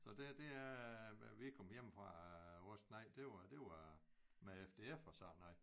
Så det det er vi kom hjemmefra vores knejt det var det var med FDF og sådan noget